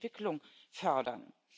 Wir müssen die Entwicklung fördern.